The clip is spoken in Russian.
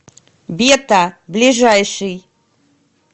бета ближайший